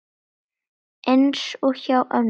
Eins og hjá mömmu.